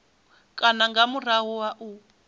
kana nga murahu ha u